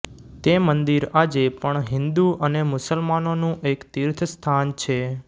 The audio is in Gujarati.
તે મંદિર આજે પણ હિન્દુ અને મુસલમાનોનું એક તીર્થસ્થાન છે